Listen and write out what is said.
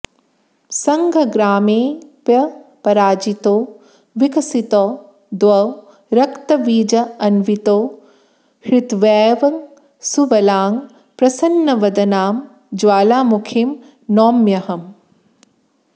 सङ्ग्रामेऽप्यपराजितौ विकसितौ द्वौ रक्तबीजान्वितौ हत्वैवं सुबलां प्रसन्नवदनां ज्वालामुखीं नौम्यहम्